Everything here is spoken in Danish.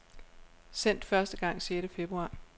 Sendt første gang sjette februar.